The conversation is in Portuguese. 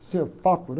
papo, né?